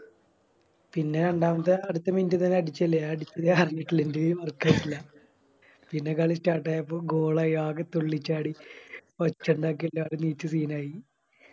പിന്നെ രണ്ടാമത്തെ അടുത്ത Minute അടിച്ചില്ല ഞാൻ അടിച്ചില്ലന്ന് പറഞ്ഞിറ്റില്ലേയ് പിന്നെ കളി Start ആയപ്പോ Goal ആയി ആകെ തുള്ളിച്ചാടി എല്ലാരും എണീച്ച് Scene ആയി